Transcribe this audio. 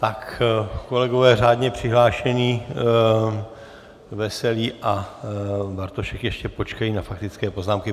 Tak kolegové řádně přihlášení Veselý a Bartošek ještě počkají na faktické poznámky.